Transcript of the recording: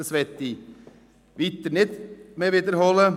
Ich möchte es nicht nochmals wiederholen.